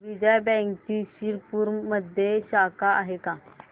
विजया बँकची शिरपूरमध्ये शाखा आहे का